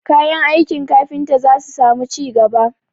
Kayan aiki kafinta za su samu ci gaba